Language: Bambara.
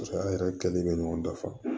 Paseke an yɛrɛ kɛlen bɛ ɲɔgɔn dafa